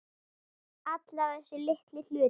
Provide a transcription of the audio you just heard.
Alla þessa litlu hluti.